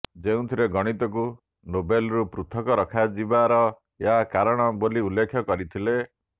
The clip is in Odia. ଯେଉଁଥିରେ ଗଣିତକୁ ନୋବେଲରୁ ପୃଥକ ରଖାଯିବାର ଏହା କାରଣ ବୋଲି ଉଲ୍ଲେଖ କରିଥିଲେ